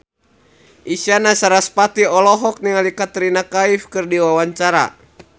Isyana Sarasvati olohok ningali Katrina Kaif keur diwawancara